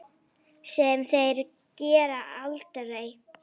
Sem þeir gera aldrei!